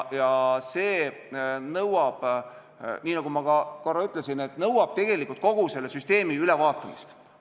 See nõuab, nii nagu ma korra ütlesin, tegelikult kogu süsteemi ülevaatamist.